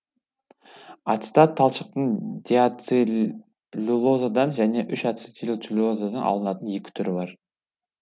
ацетат талшықтың диацеллюлозадан және үш ацетилцеллюлозадан алынатын екі түрі бар